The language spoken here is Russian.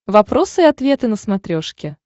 вопросы и ответы на смотрешке